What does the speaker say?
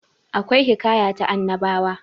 akwai hikaya ta annabawa